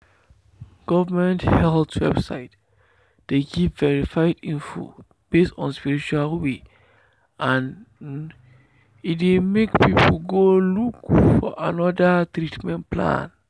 government health website dey give verified info based on spiritual way and um e dey make people go look for another treatment plan.